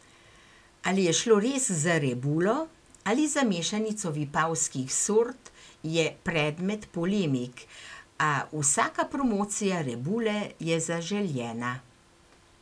Ali je šlo res za rebulo ali za mešanico vipavskih sort, je predmet polemik, a vsaka promocija rebule je zaželjena.